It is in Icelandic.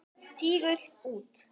Tígull út.